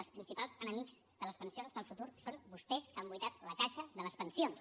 els principals enemics de les pensions del futur són vostès que han buidat la caixa de les pensions